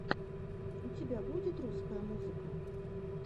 у тебя будет русская музыка